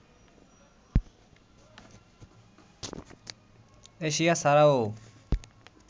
Asia ছাড়াও